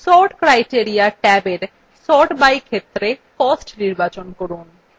sort criteria ট্যাবin sort by ক্ষেত্রে cost নির্বাচন করুন